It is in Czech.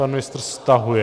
Pan ministr stahuje.